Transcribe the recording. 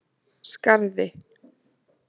Skarði